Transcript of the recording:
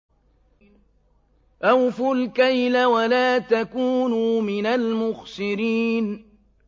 ۞ أَوْفُوا الْكَيْلَ وَلَا تَكُونُوا مِنَ الْمُخْسِرِينَ